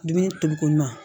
Dumuni toli ko ɲuman